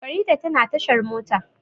Farida tana tashar mota.